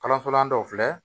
Kalanso la dɔw filɛ